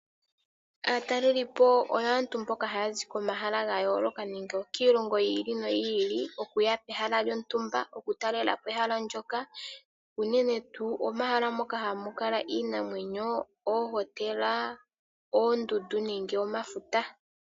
Aatalelipo oyo aantu mboka haya zi komahala ga yooloka okuza kiilongo yi ili noyi ili okuya pehala lyontumba okutalela po ehala ndyoka, unene tuu omahala moka hamu kala iinamwenyo, oohotela, oondundu nenge omafuta.